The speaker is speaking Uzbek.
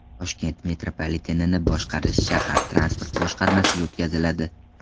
Toshkent metropolitenini boshqarish shahar transport boshqarmasiga o‘tkaziladi.